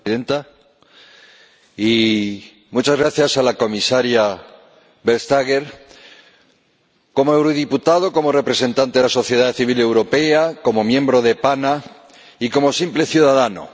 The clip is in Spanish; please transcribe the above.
Señora Presidenta. Muchas gracias a la Comisaria Vestager, como eurodiputado, como representante de la sociedad civil europea, como miembro de la Comisión PANA y como simple ciudadano.